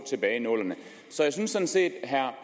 tilbage i nullerne så jeg synes sådan set herre